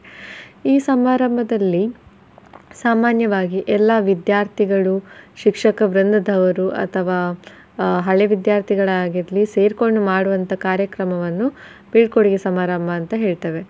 ಈ ಸಮಾರಂಭದಲ್ಲಿ ಸಾಮಾನ್ಯವಾಗಿ ಎಲ್ಲ ವಿದ್ಯಾರ್ಥಿಗಳು, ಶಿಕ್ಷಕ ವೃಂದದವರು ಅಥವಾ ಆಹ್ ಹಳೆ ವಿದ್ಯಾರ್ಥಿಗಳಾಗಿರ್ಲಿ ಸೇರ್ಕೊಂಡ್ ಮಾಡುವಂತ ಕಾರ್ಯಕ್ರಮವನ್ನು ಬೀಳ್ಕೊಡುಗೆ ಸಮಾರಂಭ ಅಂತ ಹೇಳ್ತೇವೆ.